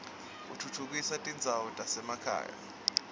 utfutfukisa tindzawo tasemakhaya